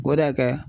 O de y'a ka